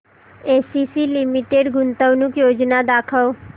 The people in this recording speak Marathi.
एसीसी लिमिटेड गुंतवणूक योजना दाखव